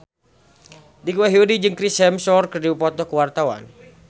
Dicky Wahyudi jeung Chris Hemsworth keur dipoto ku wartawan